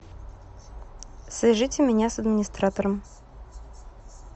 свяжите меня с администратором